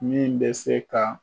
Min bɛ se ka